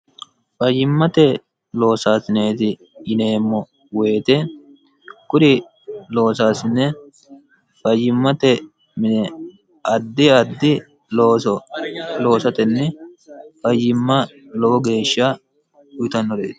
fayyimmate loosaasineeti yineemmo woyite kuri loosaasine fayyimmate mine addi addi looso loosatenni fayyimma lowo geeshsha uyitannoreeti